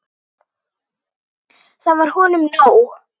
Það var honum nóg.